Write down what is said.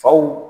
Faw